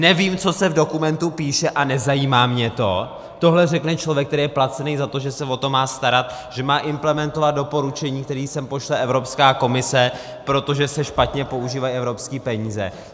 , nevím, co se v dokumentu píše, a nezajímá mě to - tohle řekne člověk, který je placený za to, že se o to má starat, že má implementovat doporučení, které sem pošle Evropská komise, protože se špatně používají evropské peníze.